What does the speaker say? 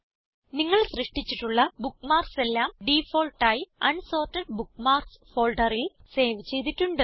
നിങ്ങൾ സൃഷ്ടിച്ചിട്ടുള്ള ബുക്ക്മാർക്സ് എല്ലാം ഡിഫാൾട്ടായി അൻസോർട്ടഡ് ബുക്ക്മാർക്സ് ഫോൾഡറിൽ സേവ് ചെയ്തിട്ടുണ്ട്